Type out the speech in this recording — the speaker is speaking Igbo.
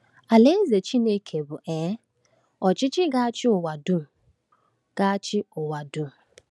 Alaeze Chineke bụ um ọchịchị ga-achị ụwa dum. ga-achị ụwa dum.